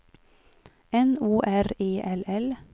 N O R E L L